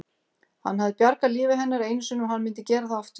Hann hafði bjargað lífi hennar einu sinni og hann myndi gera það aftur.